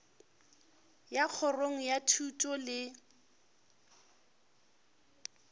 ya kgorong ya thuto le